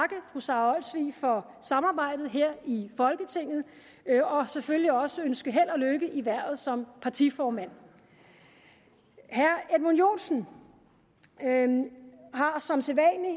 fru sara olsvig for samarbejdet her i folketinget og selvfølgelig også ønske held og lykke i hvervet som partiformand herre edmund joensen har som sædvanlig